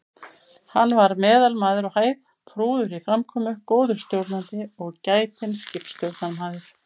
Hann var meðalmaður á hæð, prúður í framkomu, góður stjórnandi og gætinn skipstjórnarmaður.